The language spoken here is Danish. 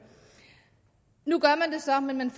nu gør man det så men man